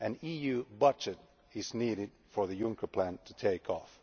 An EU budget is needed for the Juncker plan to take off.